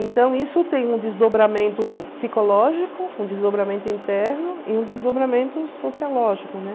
Então, isso tem um desdobramento psicológico, um desdobramento interno e um desdobramento sociológico, né?